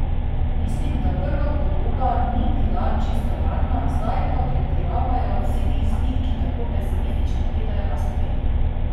Mislim, da prva podoba ni bila čisto realna, zdaj pa pretiravajo vsi tisti, ki tako pesimistično gledajo na Slovenijo.